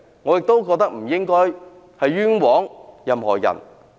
我亦認為不應該冤枉任何人。